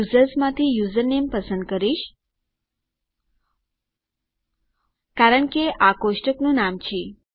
તો યુઝર્સ માંથી યુઝરનેમ પસંદ કરીશ કારણ કે આ કોષ્ટકનું નામ છે